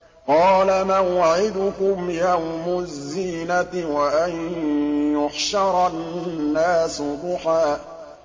قَالَ مَوْعِدُكُمْ يَوْمُ الزِّينَةِ وَأَن يُحْشَرَ النَّاسُ ضُحًى